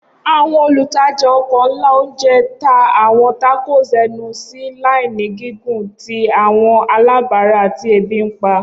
Awọn olutaja oko nla ounje ta awọn tacos ẹnu si laini gigun ti awọn alabara ti ebi npa.